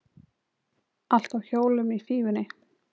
Allt á hjólum í Fífunni